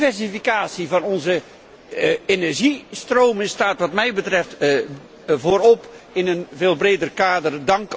Diversificatie van onze energiestroom staat wat mij betreft voorop in een veel breder kader.